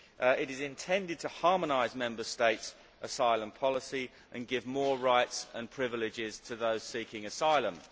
It is intended to harmonise Member States' asylum policy and give more rights and privileges to those seeking asylum.